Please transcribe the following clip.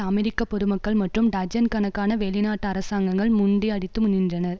அமெரிக்க பொதுமக்கள் மற்றும் டஜன் கணக்கான வெளிநாட்டு அரசாங்கங்கள் முண்டி அடித்து நின்றனர்